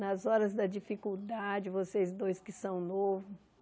nas horas da dificuldade, vocês dois que são novos.